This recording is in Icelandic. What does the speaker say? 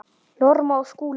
Norma og Skúli.